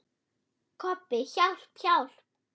Kobbi, hjálp, hjálp.